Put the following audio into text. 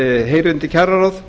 heyri undir kjararáð